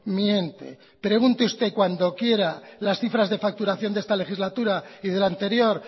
miente pregunte usted cuándo quiera las cifras de facturación de esta legislatura y de la anterior